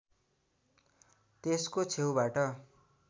त्यसको छेउबाट